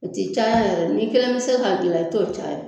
O ti caya yɛrɛ n'i kelen mi se k'a gilan i t'o caya.